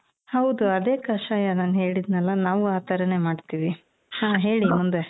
ಹೌದು ಅದೇ ಕಷಾಯ ನಾನ್ ಹೇಳಿದ್ನಲ ನಾವು ಆ ತರಾನೆ ಮಾಡ್ತೀವಿ ಹ ಹೇಳಿ ಮುಂದೆ .